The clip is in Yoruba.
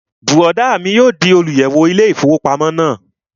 Bùrọ̀dá mi yóò di olùyẹ̀wò ilé-ìfowópamọ́sí náà